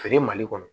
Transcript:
Feere mali kɔnɔ